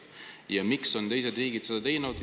Ja miks on teised riigid seda teinud?